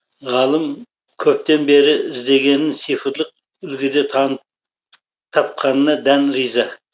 ғалым көптен бері іздегенін цифрлық үлгіде тапқанына дән риза